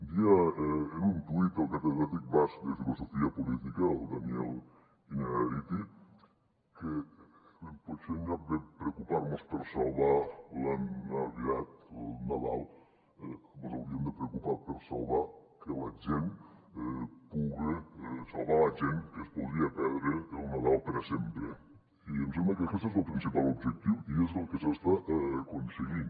deia en un tuit el catedràtic basc de filosofia política el daniel innerarity que potser en lloc de preocupar nos per salvar la navidad el nadal ens hauríem de preocupar per salvar la gent que es podria perdre el nadal per a sempre i em sembla que aquest és el principal objectiu i és el que s’està aconseguint